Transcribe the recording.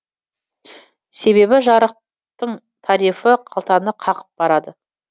себебі жарықтың тарифі қалтаны қағып барады